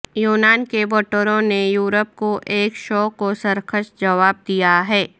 یونان کے ووٹروں نے یورپ کو ایک شوخ و سرکش جواب دیا ہے